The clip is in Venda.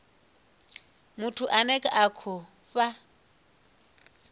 muthu ane a khou fha